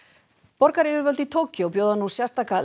borgaryfirvöld í Tókýó bjóða nú sérstaka